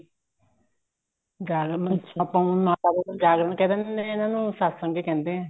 ਜਾਗਰਣ ਵਿੱਚ ਆਪਾਂ ਉਹਨਾ ਨੂੰ ਜਾਗਰਣ ਕਹਿ ਦਿੰਦੇ ਆ ਇਹਨਾ ਨੂੰ ਸਤਸੰਗ ਹੀ ਕਹਿੰਦੇ ਆ